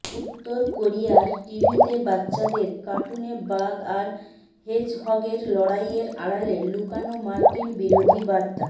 উত্তর কোরিয়ার টিভিতে বাচ্চাদের কার্টুনে বাঘ আর হেজহগের লড়াইয়ের আড়ালে লুকানো মার্কিন বিরোধী বার্তা